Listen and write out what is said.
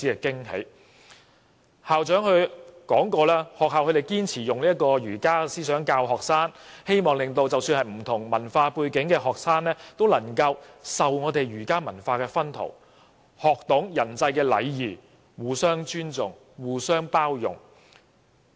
該中學的校長向我們表示，學校堅持以儒家思想教導學生，即使學生有不同文化背景，也希望他們受到儒家文化薰陶，學懂人際禮儀、互相尊重和包容。